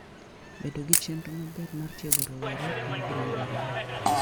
Bedo gi chenro maber mar tiego rowere en gima dwarore.